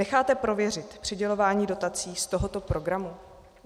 Necháte prověřit přidělování dotací z tohoto programu?